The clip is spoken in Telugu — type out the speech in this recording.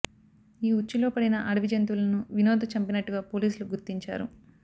ఈ ఉచ్చులో పడిన అడవి జంతువలను వినోద్ చంపినట్టుగా పోలీసులు గుర్తించారు